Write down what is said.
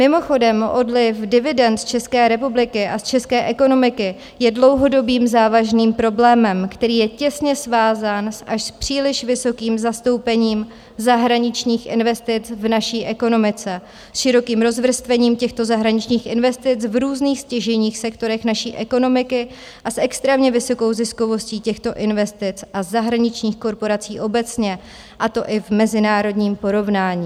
Mimochodem odliv dividend z České republiky a z české ekonomiky je dlouhodobým závažným problémem, který je těsně svázán s až příliš vysokým zastoupením zahraničních investic v naší ekonomice, s širokým rozvrstvením těchto zahraničních investic v různých stěžejních sektorech naší ekonomiky a s extrémně vysokou ziskovostí těchto investic a zahraničních korporací obecně, a to i v mezinárodním porovnání.